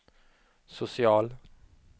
social